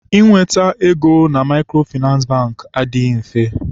Inweta ego na Maịkrofịnansị Bankị adịghị mfe.